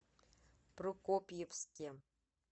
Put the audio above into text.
прокопьевске